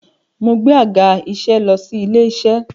Mo gbé àga-iṣẹ́ lọ sí ilé-iṣẹ́.